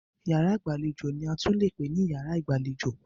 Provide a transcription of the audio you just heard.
Yàrá ìgbàlejò ni a tún leè pè ní yàrá ìgbàlejò.